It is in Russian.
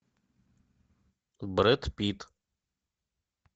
брэд питт